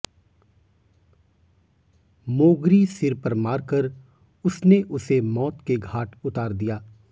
मोगरी सिर पर मारकर उसने उसे मौत के घाट उतार दिया